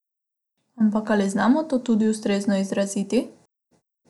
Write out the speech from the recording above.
Ampak, ali znamo to tudi ustrezno izraziti?